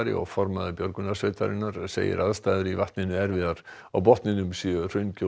og formaður björgunarsveitarinnar segir aðstæður í vatninu erfiðar á botninum séu